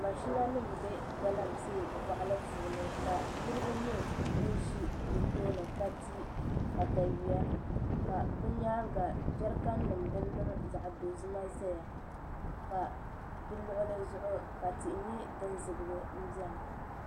Mashina nim n bɛ galamsee boɣali puuni ka niraba nyɛ bin ʒi di tooni ka ti katawiya ka bi nyaanga jɛrikan nim din niŋ zaɣ dozima ʒɛya ka di luɣuli zuɣu ka tihi nyɛ din zibigi n biɛni